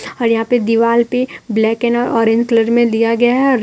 और यहां दीवाल पे ब्लैक एंड ऑरेंज कलर में दिया गया है रे--